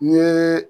N ye